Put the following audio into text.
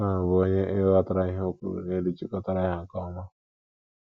Shawn, bụ́ onye e hotara ihe o kwuru n’elu chịkọtara ya nke ọma.